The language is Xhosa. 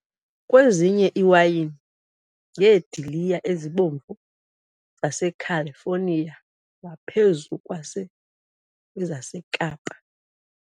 Kwenziwe iwayini ngeediliya ezibomvu zaseCalifornia ngaphezu kwezaseKapa.